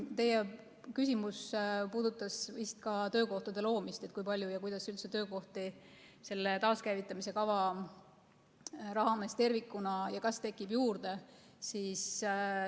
Teie küsimus puudutas vist ka töökohtade loomist, et kui palju ja kas üldse töökohti selle taaskäivitamise kava raames tervikuna tekib juurde.